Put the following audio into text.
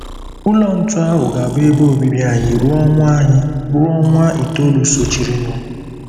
Ụlọ ntu ahụ ga-abụ ebe obibi anyị ruo ọnwa anyị ruo ọnwa itoolu sochirinụ.